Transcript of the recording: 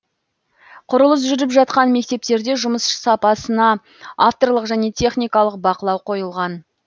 құрылыс жүріп жатқан мектептерде жұмыс сапасына авторлық және техникалық бақылау қойылған